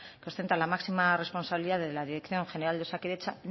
que ostenta la máxima responsabilidad de la dirección general de osakidetza